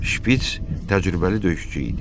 Şpiç təcrübəli döyüşçü idi.